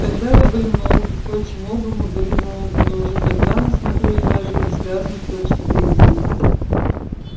тогда вы были молоды впрочем оба мы были молоды но уже тогда мы смотрели на жизнь с разных точек зрения